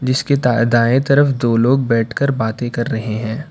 जिसके दा दाएं तरफ दो लोग बैठकर बातें कर रहे हैं।